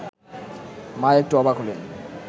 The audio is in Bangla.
মা একটু অবাক হলেন